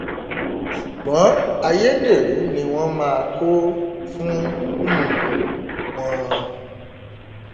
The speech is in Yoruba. ṣùgbọn ayédèrú ni wọn máa kó fún um wọn